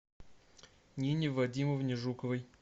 нине вадимовне жуковой